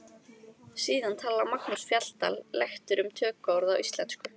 Síðan talar Magnús Fjalldal lektor um tökuorð í íslensku.